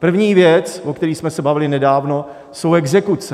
První věc, o které jsme se bavili nedávno, jsou exekuce.